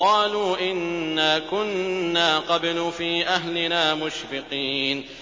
قَالُوا إِنَّا كُنَّا قَبْلُ فِي أَهْلِنَا مُشْفِقِينَ